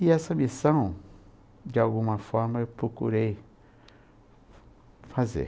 E essa missão, de alguma forma, eu procurei fazer.